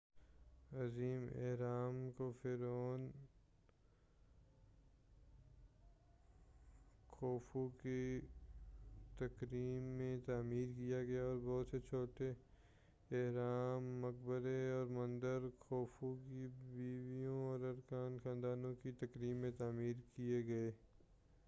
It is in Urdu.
عظیم اہرام کو فرعون خوفو کی تکریم میں تعمیر کیا گیا اور بہت سے چھوٹے اہرام مقبرے اور مندر خوفو کی بیوں اور ارکانِ خانوادہ کی تکریم میں تعمیر کئے گئے